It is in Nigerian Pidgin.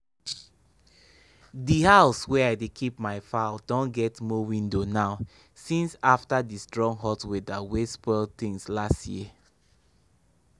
di house wey i dey keep my fowl don get more window now since afta di strong hot weather wey spoil tins last year.